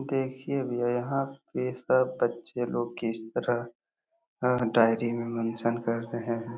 देखिये भैया यहाँ पे सब बच्चे लोग किस तरह डायरी में मेंशन कर रहे हैं।